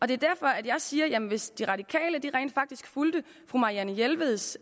det er derfor jeg siger at hvis de radikale rent faktisk fulgte fru marianne jelveds